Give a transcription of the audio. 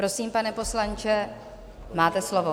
Prosím, pane poslanče, máte slovo.